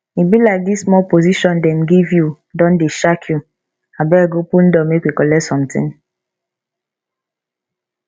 e be like dis small position dem give you don dey shark you abeg open door make we collect something